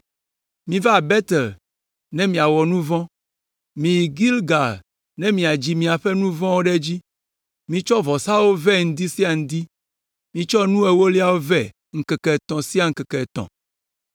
“Miva Betel ne miawɔ nu vɔ̃. Miyi Gilgal ne miadzi miaƒe nu vɔ̃wo ɖe edzi, mitsɔ vɔsawo vɛ ŋdi sia ŋdi; mitsɔ nu ewoliawo vɛ ŋkeke etɔ̃ sia ŋkeke etɔ̃.